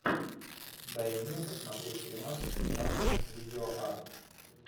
дай мне посмотреть фильмас жанр видеоарт